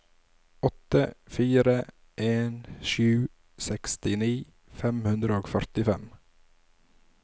åtte fire en sju sekstini fem hundre og førtifem